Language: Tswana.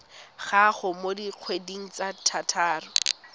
gago mo dikgweding tse tharo